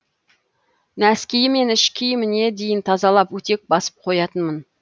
нәскиі мен ішкі киіміне дейін тазалап өтек басып қоятынмын